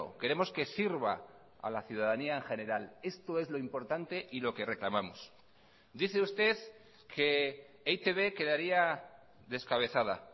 queremos que sirva a la ciudadanía en general esto es lo importante y lo que reclamamos dice usted que e i te be quedaría descabezada